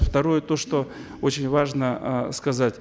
второе то что очень важно э сказать